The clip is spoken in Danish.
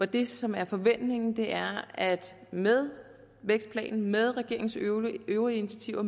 det som er forventningen er at med vækstplanen og regeringens øvrige øvrige initiativer